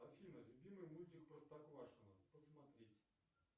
афина любимый мультик простоквашино посмотреть